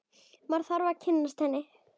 Maður þarf að kynnast henni!